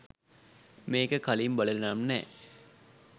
මේක කලින් බලල නම් නෑ